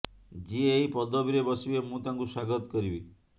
ଯିଏ ଏହି ପଦବୀରେ ବସିବେ ମୁଁ ତାଙ୍କୁ ସ୍ୱାଗତ କରିବି